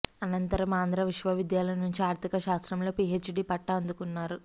అనంతరం ఆంధ్రా విశ్వవిద్యాలయం నుంచి ఆర్థిక శాస్త్రంలో పీహెచ్డీ పట్టా అందుకున్నారు